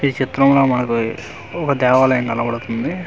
ఈ చిత్రంలో మనకు ఒక దేవాలయం కనబడుతుంది నెం--